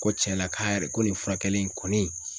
Ko cɛla ka yɛrɛ ko nin furakɛli in kɔni